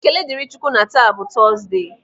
Ekele dịrị Chị Ukwu na taa bụ Tọọsde.